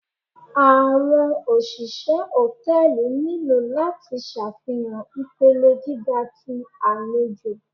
Awọn oṣiṣẹ hòtẹ́ẹ̀lì nilo lati ṣafihan ipele giga ti alejò.